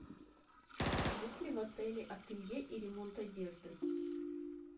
есть ли в отеле ателье и ремонт одежды